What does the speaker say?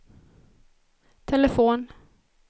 telefon